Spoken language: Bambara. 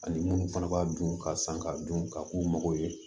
Ani minnu fana b'a dun ka san ka dun ka k'u mago ye